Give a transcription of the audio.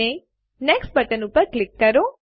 અને next button ઉપર click કરો